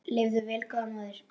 Lifðu vel góða móðir.